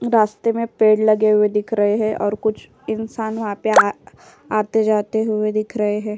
रास्ते में पेड़ लगे हुए दिख रहे हैं और कुछ इंसान वहाँ पे आते-जाते हुए दिख रहे है।